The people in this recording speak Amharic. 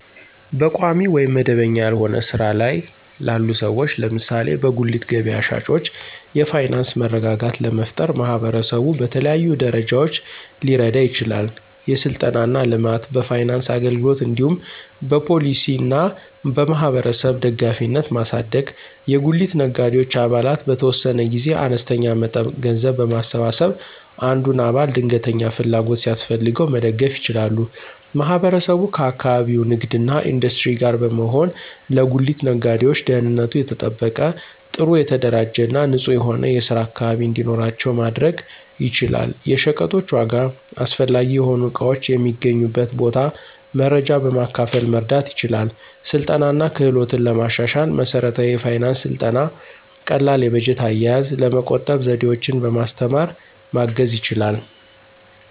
በቋሚ ወይም መደበኛ ያልሆነ ሥራ ላይ ላሉ ሰዎች (ለምሳሌ በጉሊት ገበያ ሻጮች) የፋይናንስ መረጋጋት ለመፍጠር ማህበረሰቡ በተለያዩ ደረጃዎች ሊረዳ ይችላል። የሥልጠና እና ልማት፣ በፋይናንስ አገልግሎት እንዲሁም በፖሊሲ እና በማህበረሰብ ደጋፊነትን ማሳደግ። የጉሊት ነጋዴዎች አባላት በተወሰነ ጊዜ አነስተኛ መጠን ገንዘብ በማሰባሰብ አንዱን አባል ድንገተኛ ፍላጎት ሲያስፈልገው መደገፍ ይችላሉ። ማህበረሰቡ ከአካባቢው ንግድ እና ኢንዱስትሪ ጋር በመሆን ለጉሊት ነጋዴዎች ደህንነቱ የተጠበቀ፣ ጥሩ የተደራጀ እና ንጹህ የሆነ የስራ አካባቢ እንዲኖራቸው ማድረግ ይችላል። የሸቀጦች ዋጋ፣ አስፈላጊ የሆኑ እቃዎች የሚገኙበት ቦታ መረጃ በማካፈል መርዳት ይችላል። ስልጠና እና ክህሎትን ለማሻሻል መሠረታዊ የፋይናንስ ሥልጠና ቀላል የበጀት አያያዝ፣ ለመቆጠብ ዘዴዎችን በማስተማር ማገዝ ይችላል።